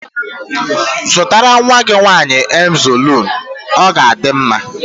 Zụtara nwa gị nwaanyị Emzọliinu, ọ ga adị mma